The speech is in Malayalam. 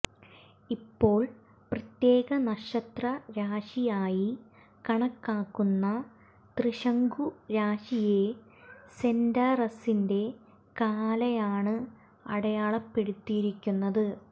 ഇപ്പോൾ പ്രത്യേക നക്ഷത്രരാശിയായി കണക്കാക്കുന്ന തൃശങ്കു രാശിയെ സെന്റാറസിന്റെ കാലായാണ് അടയാളപ്പെടുത്തിയിരുന്നത്